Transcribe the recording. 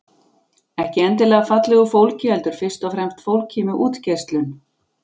Ekki endilega fallegu fólki heldur fyrst og fremst fólki með útgeislun.